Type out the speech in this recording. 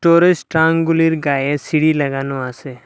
ওপরে স্ট্রাংগুলির গায়ে সিঁড়ি লাগানো আসে।